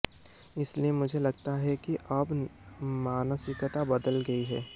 इसलिए मुझे लगता है कि अब मानसिकता बदल गई है